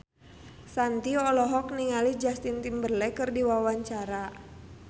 Shanti olohok ningali Justin Timberlake keur diwawancara